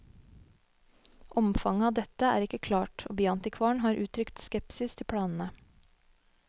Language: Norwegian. Omfanget av dette er ikke klart, og byantikvaren har uttrykt skepsis til planene.